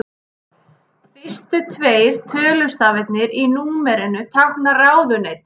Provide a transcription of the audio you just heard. Fyrstu tveir tölustafirnir í númerinu tákna ráðuneyti.